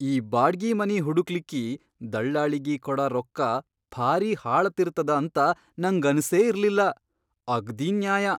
ಈ ಬಾಡ್ಗಿ ಮನಿ ಹುಡಕ್ಲಿಕ್ಕಿ ದಳ್ಳಾಳಿಗಿ ಕೊಡ ರೊಕ್ಕ ಭಾರೀ ಹಾಳತಿರತದ ಅಂತ ನಂಗನಸೇ ಇರ್ಲಿಲ್ಲ, ಅಗ್ದೀ ನ್ಯಾಯ!